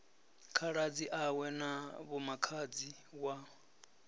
khaladzi awe na vhomakhadzi wa